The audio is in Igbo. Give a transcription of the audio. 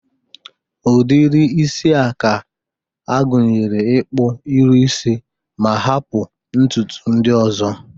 Udiri isi a gụnyere, ịkpụ iru isi ma hapụ ntụtụ ndị ọzọ.